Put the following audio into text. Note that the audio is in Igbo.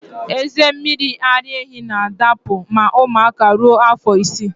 Eze mmiri ara ehi na adapụ ma ụmụaka ruo afọ isii